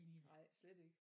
Nej slet ikke